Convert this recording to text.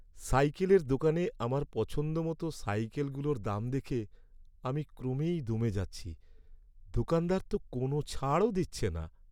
সাইকেলের দোকানে আমার পছন্দমতো সাইকেলগুলোর দাম দেখে আমি ক্রমেই দমে যাচ্ছি। দোকানদার তো কোনও ছাড়ও দিচ্ছে না।